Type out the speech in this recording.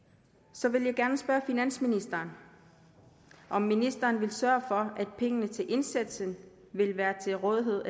så vil jeg gerne spørge finansministeren om ministeren vil sørge for at pengene til indsatsen vil være til rådighed